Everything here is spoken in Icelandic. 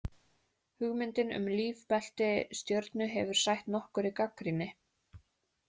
Hugmyndin um lífbelti stjörnu hefur sætt nokkurri gagnrýni.